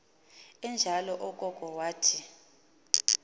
enjalo okoko wathi